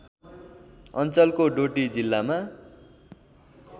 अञ्चलको डोटी जिल्लामा